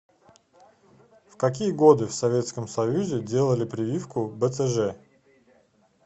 в какие годы в советском союзе делали прививку бцж